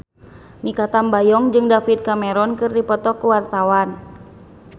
Mikha Tambayong jeung David Cameron keur dipoto ku wartawan